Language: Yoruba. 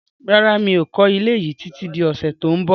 Rárá, mi ò kọ́ ilé yí títí di ọ̀sẹ̀ tó ń bọ̀